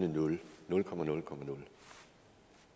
det nul nul komma nul komma nul